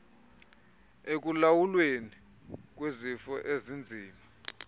ekulawulweni kwezifo ezinzima